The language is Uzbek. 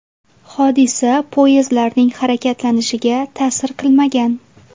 Hodisa poyezdlarning harakatlanishiga ta’sir qilmagan.